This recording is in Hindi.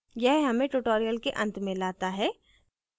यह हमें tutorial के अंत में लाता है